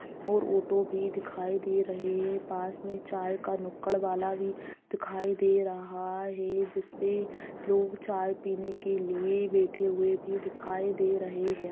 और ऑटो भी दिखाई दे रहै है पास मे चाय का नुक्कड़ वाला भी दिखाई दे रहा है जिस पे लोग चाय पीने के लिए बेठे हुवे भी दिखाई दे रहै है